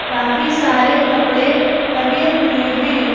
काफी सारे कपड़े टंगे हुए हैं।